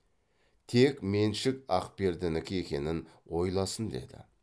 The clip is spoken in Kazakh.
тек меншік ақпердінікі екенін ойласын деді